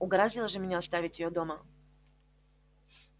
угораздило же меня оставить её дома